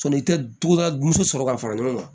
Sɔni i ka duda dusu sɔrɔ k'a fara ɲɔgɔn kan